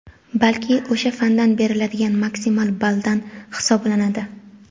balki o‘sha fandan beriladigan maksimal balldan hisoblanadi.